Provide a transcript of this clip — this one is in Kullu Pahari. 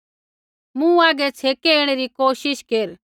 मूँ हागै छ़ेकै ऐणै री कोशिश केर